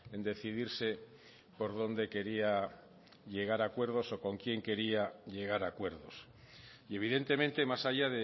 en decidirse por dónde quería llegar a acuerdos o con quién quería llegar a acuerdos y evidentemente más allá